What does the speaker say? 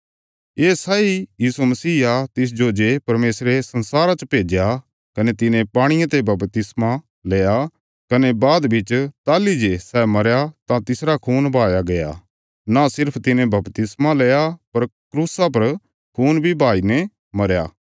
ये सैई यीशु मसीह आ तिसजो जे परमेशरे संसारा च भेज्या कने तिने पाणिये ते बपतिस्मा लैया कने बाद बिच ताहली जे सै मरया तां तिसरा खून बहाया गया न सिर्फ तिने बपतिस्मा लैया पर क्रूसा पर खून बहाई ने मरया